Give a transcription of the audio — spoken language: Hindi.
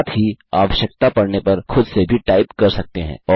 साथ ही आवश्यकता पड़ने पर खुद से भी टाइप कर सकते हैं